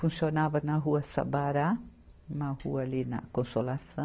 Funcionava na rua Sabará, uma rua ali na Consolaçã.